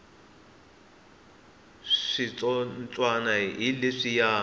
switsotswana hi leswiya